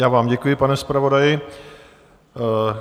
Já vám děkuji, pane zpravodaji.